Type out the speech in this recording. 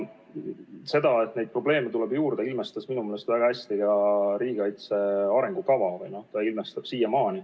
Seda, et neid probleeme tuleb juurde, ilmestab minu meelest väga hästi ka riigikaitse arengukava.